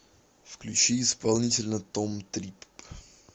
включи исполнителя том трипп